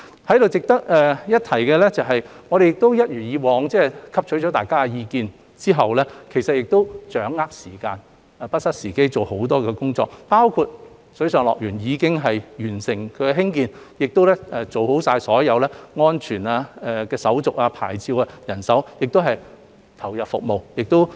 在此值得一提的是，我們也一如以往，在汲取了大家的意見後，掌握時間，不失時機，進行多項工作，包括水上樂園已經完成興建，亦做好了所有安全、牌照的手續，也安排了人手，可以投入服務。